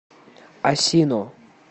асино